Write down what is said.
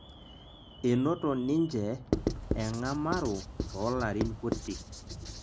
enoto ninje eng'amaro toolarin kutik